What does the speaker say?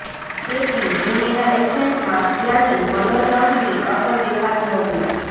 તેથી હિન્દીના એક્સેન્ટમાં ત્યાંની મધર ટંગની અસર દેખાતી હતી